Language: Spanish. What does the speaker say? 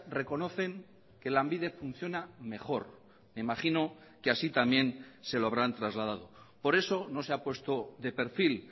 reconocen que lanbide funciona mejor imagino que así también se lo habrán trasladado por eso no se ha puesto de perfil